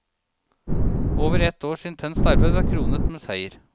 Over ett års intenst arbeid var kronet med seier.